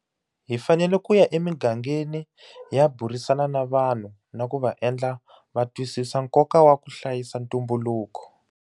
Hi fanele ku ya emigangeni hi ya burisana na vanhu na ku va endla va twisisa nkoka wa ku hlayisa ntumbuluko.